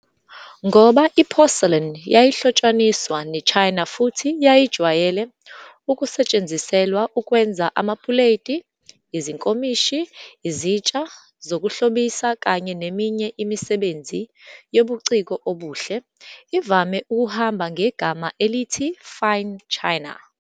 Ngoba i-porcelain yayihlotshaniswa neChina futhi yayijwayele ukusetshenziselwa ukwenza amapuleti, izinkomishi, izitsha zokuhlobisa kanye neminye imisebenzi yobuciko obuhle, ivame ukuhamba ngegama elithi 'fine china'.